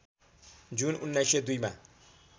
जुन १९०२ मा